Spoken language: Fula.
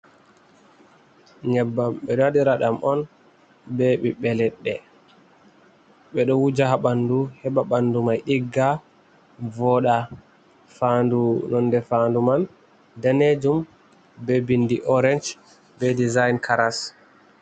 Nyebbam ɓe ɗo waɗira ɗam on, be ɓiɓɓe leɗɗe, ɓe ɗo wuja haa ɓanndu, heɓa ɓanndu may ɗigga, vooɗa. Faandu, nonde faandu man daneejum, be binndi oorec, be dijayin karas.